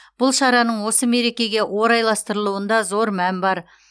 бұл шараның осы мерекеге орайластырылуында зор мән бар